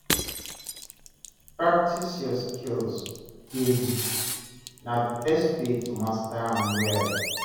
Practice your skills daily; na the best way to master am well.